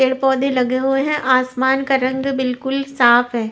पेड़-पौधे लगे हुए हैं आसमान का रंग बिल्कुल साफ है।